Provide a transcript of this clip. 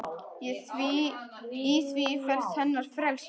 Í því felst hennar frelsi.